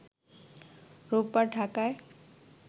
রোববার ঢাকায়